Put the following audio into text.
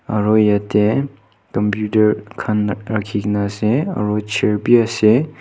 aru yatte computer khan rakhi kina ase aru chair bhi ase.